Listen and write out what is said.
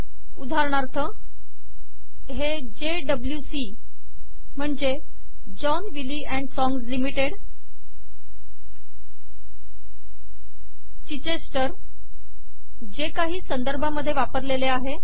उदाहरणार्थ हे जेडब्ल्यूसी म्हणजे John Wiley AMP sons limited Chichester जे काही संदर्भामध्ये वापरलेले आहे